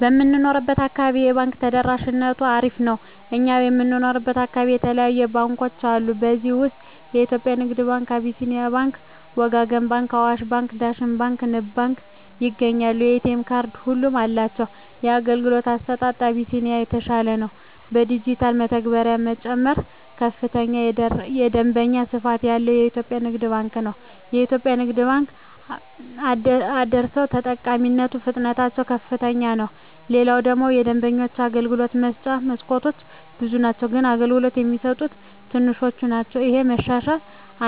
በምንኖረው አካባቢ የባንክ ተደራሽነቱ አሪፍ ነው እኛ የምንኖረው አካባቢ የተለያዩ ባንኮች አሉ ከዚህ ውስጥ የኢትዮጵያ ንግድ ባንክ አቢስኒያ ባንክ ወጋገን ባንክ አዋሽ ባንክ ዳሽን ባንክ ንብ ባንክ ይገኛሉ የኤ.ቴ ካርድ ሁሉም አላቸው የአገልግሎቱ አሰጣጡ አቢስኒያ የተሻለ ነው የዲጅታል መተግበሪያ ጨምሮ ከፍተኛ የደንበኛ ስፋት ያለው ኢትዮጵያ ንግድ ባንክ ነው የኢትዮጵያ ንግድ ባንክ አደሰው ተጠቃሚነቱ ፍጥነትታቸው ዝቅተኛ ነው ሌላው ደግሞ የደንበኞች የአገልግሎት መስጫ መስኮቶች ብዙ ናቸው ግን አገልግሎት የሚሰጡት ትንሾች ናቸው እሄ መሻሻል